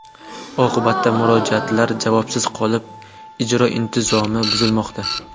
Oqibatda murojaatlar javobsiz qolib, ijro intizomi buzilmoqda.